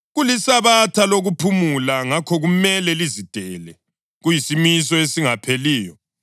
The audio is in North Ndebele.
KuliSabatha lokuphumula, ngakho kumele lizidele, kuyisimiso esingapheliyo.